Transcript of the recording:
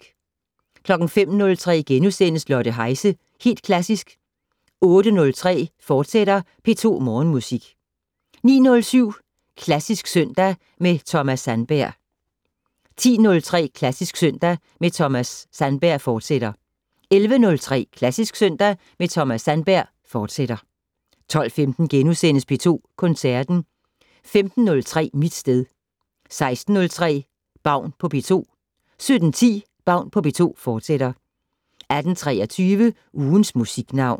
05:03: Lotte Heise - Helt Klassisk * 08:03: P2 Morgenmusik, fortsat 09:07: Klassisk søndag med Thomas Sandberg 10:03: Klassisk søndag med Thomas Sandberg, fortsat 11:03: Klassisk søndag med Thomas Sandberg, fortsat 12:15: P2 Koncerten * 15:03: Mit sted 16:03: Baun på P2 17:10: Baun på P2, fortsat 18:23: Ugens Musiknavn